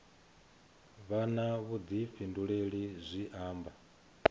vha na vhuḓifhinduleli zwi amba